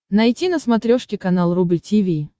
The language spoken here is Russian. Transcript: найти на смотрешке канал рубль ти ви